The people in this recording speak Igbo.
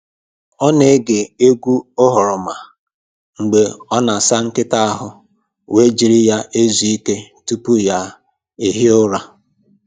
Ọ na-ege egwu oghoroma mgbe ọ na-asa nkịta ahụ wee jiri ya ezu ike tupu ya ehie ụra.